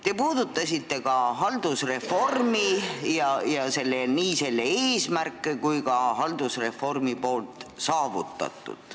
Te puudutasite ka haldusreformi, nii selle eesmärke kui ka saavutatut.